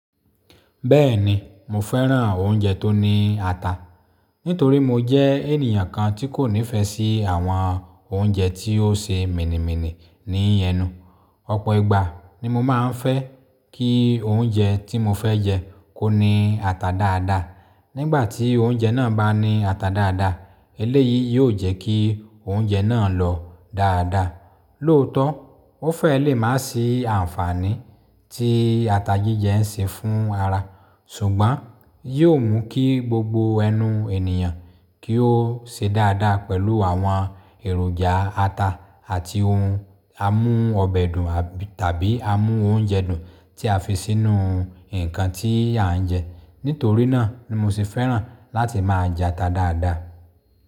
Bẹ́ẹ̀ni, mo fẹ́ràn oúnjẹ tó ní ata, nítorí mo jẹ́ ènìyàn kan tí kò nífẹ̀ẹ́ sí àwọn oúnjẹ tí ó ṣe míni míni ní ẹnú. Ọ̀pọ̀ ìgbà ni mo máa ń fẹ́ kí oúnjẹ tí mo fẹ́ jẹ́ kó ní ata dáadáa. Nígbà tí oúnjẹ náà bá ní ata dáadáa, eléyìí yóò jẹ́ kí oúnjẹ náà lọ dáadáa. Lóòótọ́, ó fẹ́ lè má sì ànfàní tí ata jíjẹ ń ṣe fún ara, ṣùgbọ́n yóò mú kí gbogbo ẹnu ènìyàn kí ó ṣe dáadáa pẹ̀lú àwọn èròjà ata àti ohun amú ọbẹ̀ dùn tàbí amú oúnjẹ dùn tí a fi sínú nǹkan tí à ń jẹ. Nítorí náà ni mo sì fẹ́ràn láti máa jẹ ata dáadáa.